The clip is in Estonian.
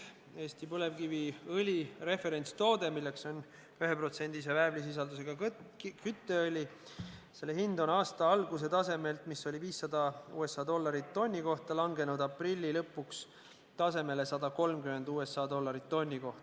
Eesti põlevkiviõli referentstoode, milleks on 1%-lise väävlisisaldusega kütteõli, on aasta alguse tasemelt, mis oli 500 USA dollarit tonni kohta, odavnenud tasemele 130 USA dollarit tonni kohta.